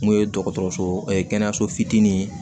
N'o ye dɔgɔtɔrɔso kɛnɛyaso fitiinin ye